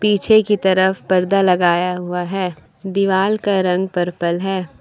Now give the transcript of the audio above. पीछे की तरफ पर्दा लगाया हुआ है दीवाल का रंग पर्पल है।